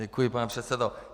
Děkuji, pane předsedo.